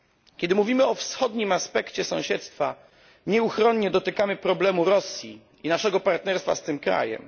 Kiedy mówimy o wschodnim aspekcie sąsiedztwa nieuchronnie dotykamy problemu Rosji i naszego partnerstwa z tym krajem.